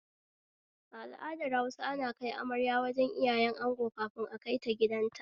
A al'adar Hausa ana kai amarya wajen iyayen ango kafin akaita gidanta